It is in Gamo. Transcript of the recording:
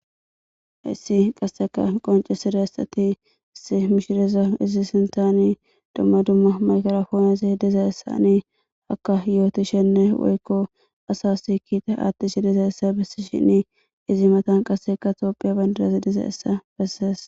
Hessi qasseka qoncesida essati issi mishireza izi sintani dumma dumma makarfoonasi dizaessani hakka yootishenne woykko asas kiita aattishi dizayessa bessi shinni izi matan qasseka toophiya bandarazi diza essa bessees.